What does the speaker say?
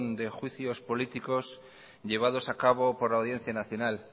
de juicios políticos llevados a cabo por la audiencia nacional